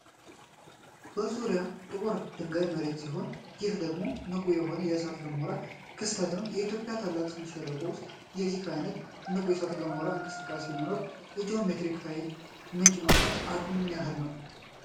በዙሪያው ጥቁር ድንጋያማ መሬት ሲሆን፤ ይህ ደግሞ ንቁ የሆነ የእሳተ ገሞራ ክስተት ነው። በኢትዮጵያ ታላቁ ስምጥ ሸለቆ ውስጥ የዚህ ዓይነቱ ንቁ የእሳተ ገሞራ እንቅስቃሴ መኖር የጂኦተርማል ኃይል ምንጭ የመሆን አቅሙ ምን ያህል ነው?